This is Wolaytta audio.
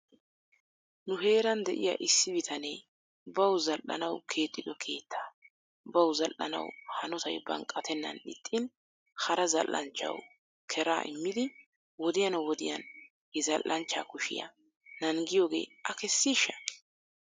Nu heeran de'iya issi bitanee baw zal'anaw keexxido keetaa baw zal'anaw hanotay banqqatennan ixxin hara zal'anchchaw kera immidi wodiyan wodiyan he zal'anchcha kushiya nangiyooge a kessishsha?